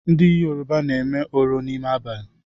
Ndị Yoruba na-eme oro n’ime abalị